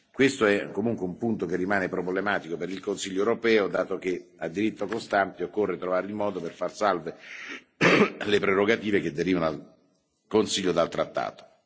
Questo è comunque un punto che rimane problematico per il Consiglio europeo, dato che a diritto costante occorre trovare il modo per far salve le prerogative attribuite al Consiglio dal trattato.